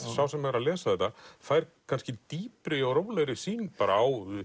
sá sem er að lesa þetta fær kannski dýpri og rólegri sýn á